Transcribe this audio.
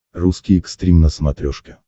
русский экстрим на смотрешке